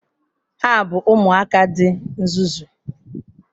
Ha bụ ụmụaka dị nzuzu.